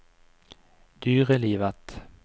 dyrelivet